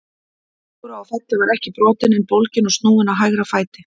Dóra á Felli var ekki brotin en bólgin og snúin á hægra fæti.